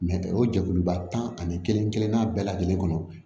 o jɛkuluba tan ani kelen kelenna bɛɛ lajɛlen kɔnɔ